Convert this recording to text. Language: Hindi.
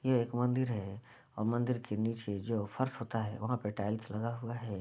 ये एक मंदिर है और मंदिर के नीचे जो फर्श होता है वहां पे टाइल्स लगा हुआ है।